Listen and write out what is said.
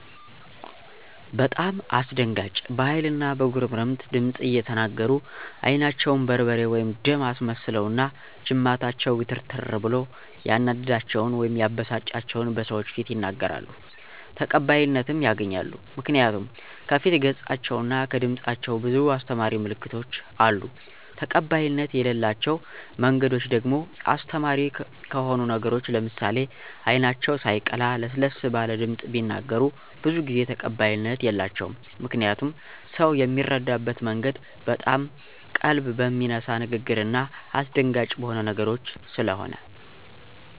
በጣም አስደንጋጭ በሀይል እና በጉርምትምት ድምፅ እየተናገሩ አይናቸውን በርበሬ/ደም አስመስለውና ጅማታቸው ግትርትር ብሎ ያናደዳቸውን/የበሳጫቸውን በሰዎች ፊት ይናገራሉ። ተቀባይነትም ያገኛሉ ምክንያቱ ከፊት ገፃቸው እና ከድምፃቸው ብዙ አሰተማሪ ምልክቶች አሉ። ተቀባይነት የለላቸው መንገዶች ደግሞ አስተማሪ ከሆኑ ነገሮች ለምሳሌ አይናቸው ሳየቀላ ለሰለስ ባለ ድምፅ ቢናገሩ ብዙ ጊዜ ተቀባይነት የላቸውም። ምክንያቱም ሰው ሚረዳበት መንገድ በጣም ቀልብ በሚነሳ ንግግርና አሰደንጋጭ በሆኑ ነገሮች ሰለሆነ።